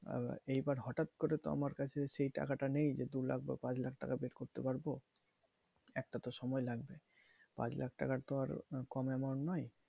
আহ এবার হঠাৎ করে তো আমার কাছে সেই টাকা টা নেই যে দু লাখ, পাঁচ লাখ টাকা pay করতে পারবো একটা তো সময় লাগবে পাঁচ লাখ টাকা তো আর কম amount নয়।